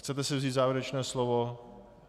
Chcete si vzít závěrečné slovo?